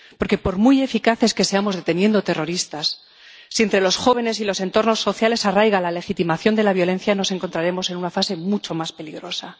Porque, por muy eficaces que seamos deteniendo terroristas, si entre los jóvenes y en los entornos sociales arraiga la legitimación de la violencia, nos encontraremos en una fase mucho más peligrosa.